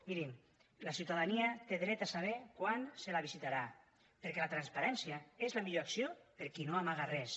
mirin la ciutadania té dret a saber quan se la visitarà perquè la transparència és la millor acció per a qui no amaga res